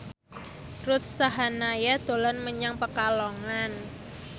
Ruth Sahanaya dolan menyang Pekalongan